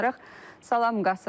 Salam, Qasım.